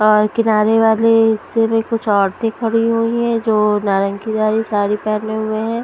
और किनारे वाले हिस्से में कुछ औरतें खड़ी हुई हैं जो नारंगीवाली साड़ीपहने हुए हैं ।